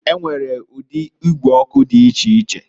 E nwere udi igwe ọkụ di icheiche.